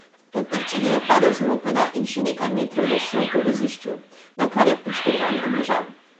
Po trčenju je padel z mopeda in še nekaj metrov drsel po vozišču, nakar je poškodovan obležal.